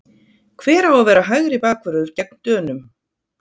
Hver á að vera hægri bakvörður gegn Dönum?